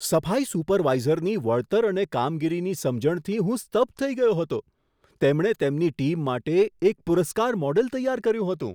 સફાઈ સુપરવાઇઝરની વળતર અને કામગીરીની સમજણથી હું સ્તબ્ધ થઈ ગયો હતો. તેમણે તેમની ટીમ માટે એક પુરસ્કાર મોડેલ તૈયાર કર્યું હતું.